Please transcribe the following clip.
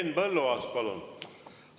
Henn Põlluaas, palun!